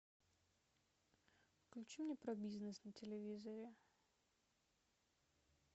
включи мне про бизнес на телевизоре